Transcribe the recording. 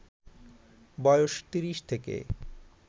বয়স ৩০ থেকে